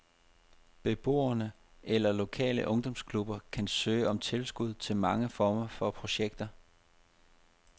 Beboere eller lokale ungdomsklubber kan søge om tilskud til mange former for projekter.